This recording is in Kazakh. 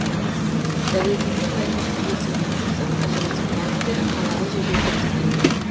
дәлелденген мәліметтерге сүйенер болсақ ажырасу фактілері қалалық жерде көп тіркелген